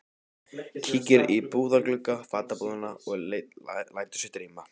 Kíkir í búðarglugga fatabúðanna og lætur sig dreyma.